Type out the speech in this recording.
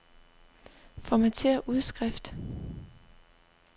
Formatér udskrift.